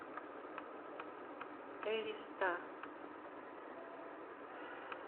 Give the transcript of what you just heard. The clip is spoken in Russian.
элиста